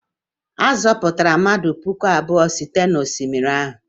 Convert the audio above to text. A zọpụtara mmadụ puku abụọ site n'osimiri ahụ?